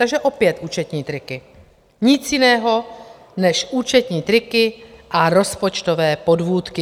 Takže opět účetní triky, nic jiného než účetní triky a rozpočtové podvůdky.